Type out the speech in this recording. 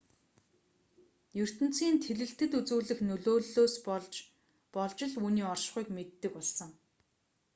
ертөнцийн тэлэлтэд үзүүлэх нөлөөллөөс нь болж л үүний оршихуйг мэддэг болсон